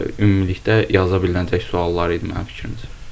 Ümumilikdə yazıla bilinəcək suallar idi mənim fikrimcə.